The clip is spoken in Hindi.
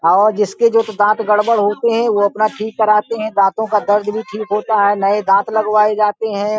और जिसके जोकि दाँत गड़बड़ होते हैं वो अपना ठीक कराते हैं। दातों का दर्द भी ठीक होता है। नए दाँत भी लगवाए जाते हैं।